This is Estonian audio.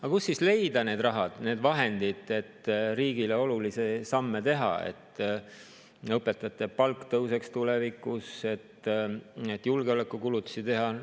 Aga kust siis leida need rahad, need vahendid, et riigile olulisi samme teha – et õpetajate palk tõuseks tulevikus, et julgeolekukulutusi teha?